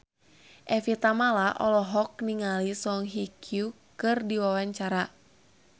Evie Tamala olohok ningali Song Hye Kyo keur diwawancara